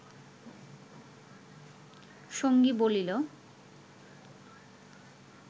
সঙ্গী বলিল